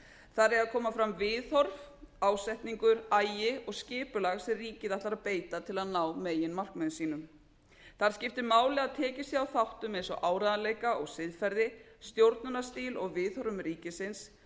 þar eiga að koma fram viðhorf ásetningur agi og skipulag sem ríkið ætlar að beita til að ná meginmarkmiðum sínum þar skiptir máli að tekið sé á þáttum eins og áreiðanleika og siðferði stjórnunarstíl og viðhorfum ríkisins